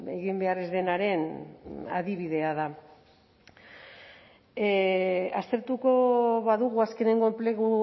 egin behar ez denaren adibidea da aztertuko badugu azkeneko enplegu